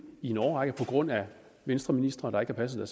i en årrække på grund af venstreministre der ikke har passet